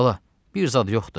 Bala, bir zad yoxdur.